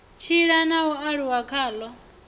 tshila na u aluwa khalo